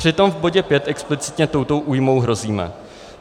Přitom v bodě 5 explicitně touto újmou hrozíme.